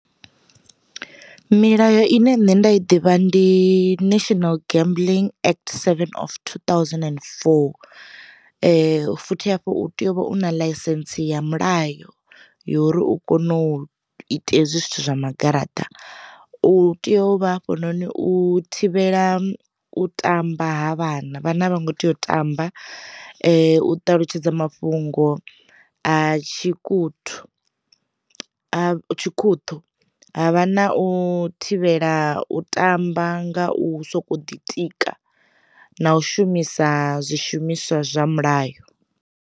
Milayo ine nṋe nda i ḓivha ndi national gambling act seven of two thousand and four, futhi hafhu u tea u vha u na ḽaisentse ya mulayo yori u kone u ita hezwi zwithu zwa ma garaṱa, u tea u vha hafhanoni u thivhela u tamba ha vhana vhana vha ngo tea u tamba u ṱalutshedza mafhungo a tshi khuthu a tshi khuṱhu, havha na u thivhela u tamba nga u soko ḓitika, na u shumisa zwi shumiswa zwa mulayo.